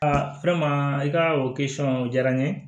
Aa i ka o o diyara n ye